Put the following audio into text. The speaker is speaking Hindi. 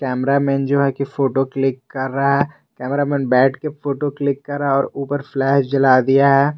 कैमरा मैन जो है की फोटो क्लिक कर रहा है कैमरा मैन बैठ के फोटो क्लिक कर रहा है और ऊपर फ्लैश जला दिया है।